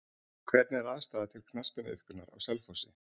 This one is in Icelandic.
Hvernig er aðstaða til knattspyrnuiðkunar á Selfossi?